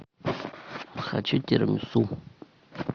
хочу тирамису